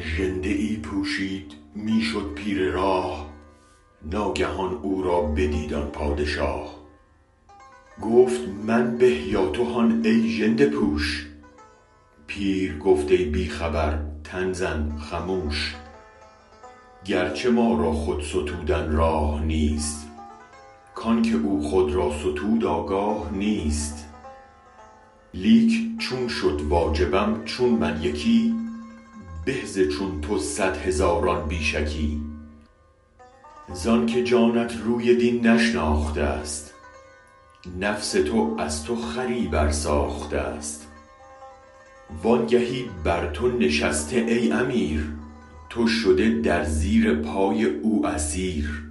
ژنده ای پوشید می شد پیر راه ناگهان او رابدید آن پادشاه گفت من به یا تو هان ای ژنده پوش پیر گفت ای بی خبر تن زن خموش گرچه ما را خود ستودن راه نیست کانک او خود را ستود آگاه نیست لیک چون شد واجبم چون من یکی به ز چون تو صد هزاران بی شکی زانک جانت روی دین نشناختست نفس تو از تو خری برساختست وانگهی بر تو نشسته ای امیر تو شده در زیر بار او اسیر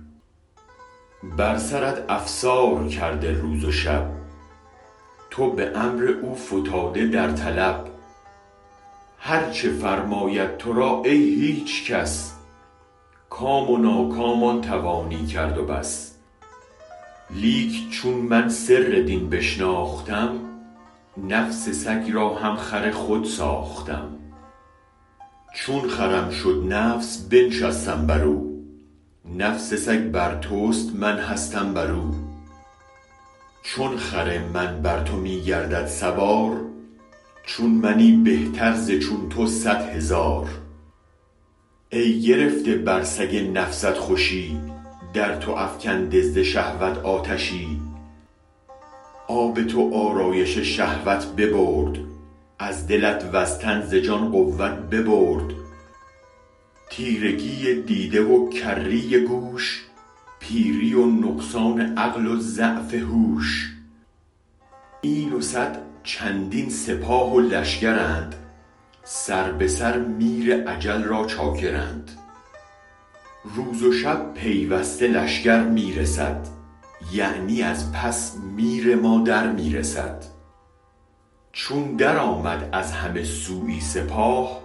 بر سرت افسار کرده روز و شب تو به امر او فتاده در طلب هرچ فرماید ترا ای هیچ کس کام و ناکام آن توانی کرد و بس لیک چون من سر دین بشناختم نفس سگ را هم خر خود ساختم چون خرم شد نفس بنشستم برو نفس سگ بر تست من هستم برو چون خر من بر تو می گردد سوار چون منی بهتر ز چون تو صد هزار ای گرفته بر سگ نفست خوشی در تو افکنده ز شهوت آتشی آب تو آرایش شهوت ببرد از دلت و ز تن ز جان قوت ببرد تیرگی دیده و کری گوش پیری و نقصان عقل و ضعف هوش این و صد چندین سپاه و لشگرند سر به سرمیر اجل را چاکرند روز و شب پیوسته لشگر می رسد یعنی از پس میر ما در می رسد چون درآمد از همه سویی سپاه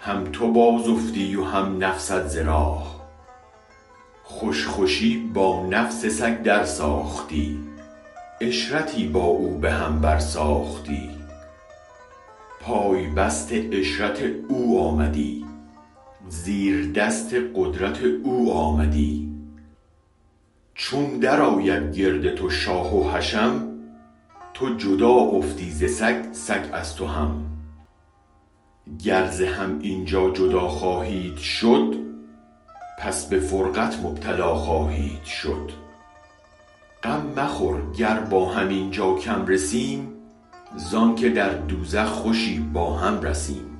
هم تو بازافتی و هم نفست ز راه خوش خوشی با نفس سگ در ساختی عشرتی با او به هم برساختی پای بست عشرت او آمدی زیردست قدرت او آمدی چون درآید گرد تو شاه و حشم تو جدا افتی ز سگ سگ از تو هم گر ز هم اینجا جدا خواهید شد پس به فرقت مبتلا خواهید شد غم مخور گر با هم اینجا کم رسیم زانک در دوزخ خوشی با هم رسیم